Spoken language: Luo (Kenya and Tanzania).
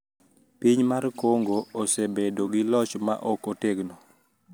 Piny mar Congo osebedo gi loch maok otegno